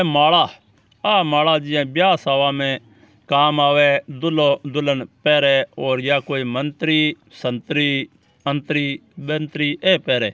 माला आ माला जिया ब्याव सावा में काम आवे दूल्हों दुल्हन पहरे और या कोई मंत्री शान्तरि त्रनत्री बंतरी ए पहरे।